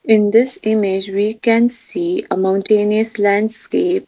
in this image we can see a mountanies land scape.